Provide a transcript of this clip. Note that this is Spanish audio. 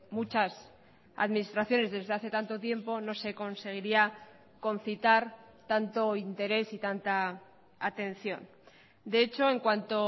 muchas administraciones desde hace tanto tiempo no se conseguiría concitar tanto interés y tanta atención de hecho en cuanto